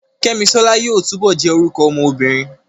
Kẹ́misọ́lá yóò túbọ̀ jẹ́ orúkọ ọmọ obìnrin